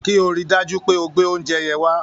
Kí o rí i dájú pé o gbé oúnjẹ yẹn wá